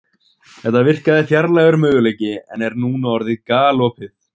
Þetta virkaði fjarlægur möguleiki en er núna orðið galopið.